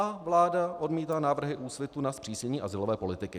A vláda odmítá návrhy Úsvitu na zpřísnění azylové politiky.